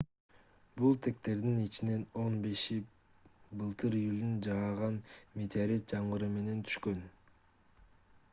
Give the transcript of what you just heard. бул тектердин ичинен он беши былтыр июлда жааган метеорит жамгыры менен түшкөн